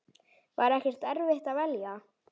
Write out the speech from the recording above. Var ekkert erfitt að velja?